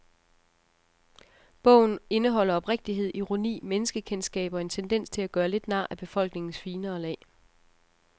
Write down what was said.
Bogen indeholder oprigtighed, ironi, menneskekendskab og en tendens til at gøre lidt nar af befolkningens finere lag.